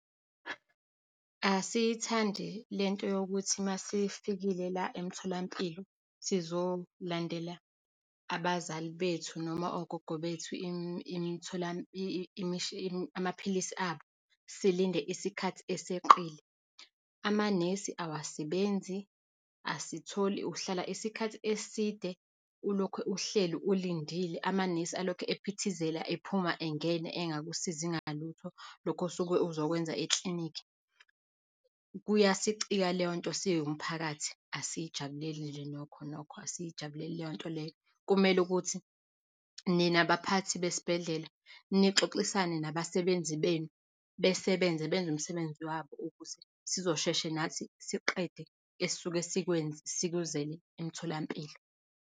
Asiyithandi le nto yokuthi masifikile la emtholampilo, sizolandela abazali bethu noma ogogo bethu amaphilisi abo, silinde isikhathi eseqile. Amanesi awasebenzi. Asitholi, uhlala isikhathi eside ulokhu uhleli ulindile, amanesi alokhu ephithizela, ephuma engena, engakusizi ngalutho, lokho osuke uzokwenza eklinikhi. Kuyasicika leyo nto siwumphakathi, asiyijabulile nje, nokho nokho, asiyijabulile leyo nto leyo. Kumele ukuthi nina abaphathi besibhedlela nixoxisane nabasebenzi benu, besebenze, benze umsebenzi wabo, ukuze sizoshesha nathi siqede esisuke sikuzele emtholampilo.